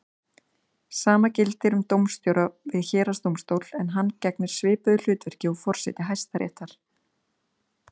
Sama gildir um dómstjóra við héraðsdómstól en hann gegnir svipuðu hlutverki og forseti Hæstaréttar.